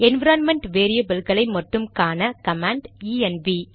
environment வேரியபில்களை மட்டும் காண கமாண்ட் ஈஎன்வி